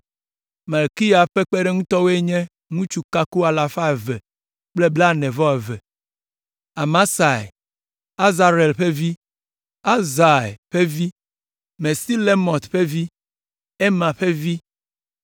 Malkiya ƒe kpeɖeŋutɔwo nye ŋutsu kako alafa eve kple blaene-vɔ-eve (242); Amasai, Azarel ƒe vi, Ahzai ƒe vi, Mesilemɔt ƒe vi, Imer ƒe vi